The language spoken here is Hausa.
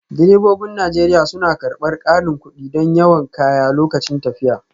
Direbobin Najeriya suna karɓar ƙarin kuɗi don yawan kaya lokacin tafiya